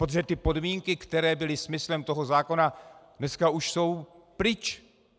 Protože ty podmínky, které byly smyslem toho zákona, dneska už jsou pryč.